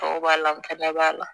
Tɔw b'a la b'a la